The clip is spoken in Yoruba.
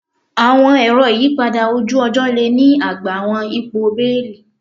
Awọn ero iyipada oju-ọjọ le ni agba awọn ipo beeli